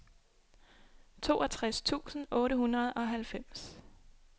toogtres tusind otte hundrede og halvfems